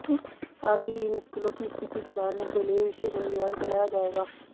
साथ ही इन स्कूलों की स्थिति सुधारने के लिए विशेष अभियान चलाया जाएगा